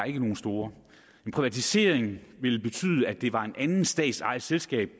ikke nogen store en privatisering ville betyde at det var et andet statsejet selskab